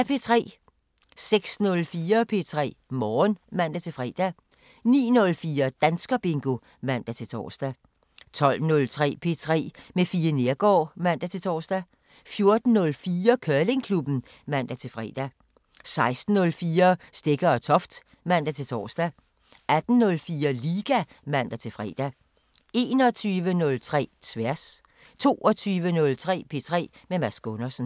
06:04: P3 Morgen (man-fre) 09:04: Danskerbingo (man-tor) 12:03: P3 med Fie Neergaard (man-tor) 14:04: Curlingklubben (man-fre) 16:04: Stegger & Toft (man-tor) 18:04: Liga (man-fre) 21:03: Tværs 22:03: P3 med Mads Gundersen